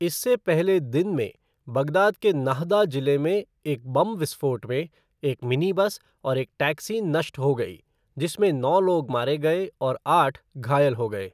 इससे पहले दिन में, बगदाद के नाहदा जिले में एक बम विस्फोट में एक मिनी बस और एक टैक्सी नष्ट हो गई, जिसमें नौ लोग मारे गए और आठ घायल हो गए।